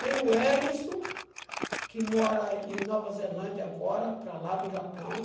Tem o Welissom, que mora em Nova Zelândia agora, para lá do Japão.